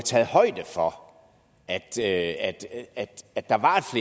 taget højde for at at der var